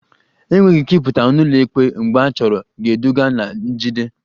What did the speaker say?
Enweghị ike ịpụta n'ụlọikpe mgbe achọrọ ga-eduga na njide